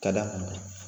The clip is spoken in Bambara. Ka da kun